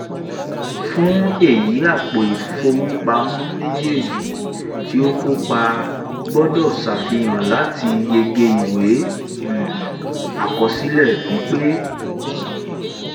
fún èyí àpò ìfowópamọ́ méjèèjì ti o kópa gbọ́dọ̀ sàfihàn láti yege ìwé um àkọsílẹ̀ pípé